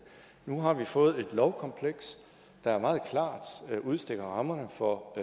nu har vi fået et lovkompleks der meget klart udstikker rammerne for